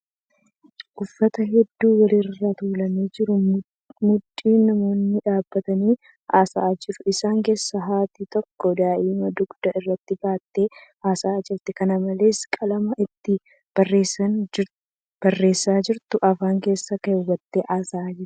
Uffata hedduu wal irra tuulamee jiru maddii namoonni dhaabbatanii haasa'aa jiru. Isaan keeessa haati takka daa'ima dugda irratti baattee haasa'aa jirti. Kana malees, qalama ittiin barreessaa jirtu afaan keessa kaawwattee haasa'aa jirti.